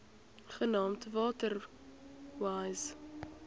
genaamd water wise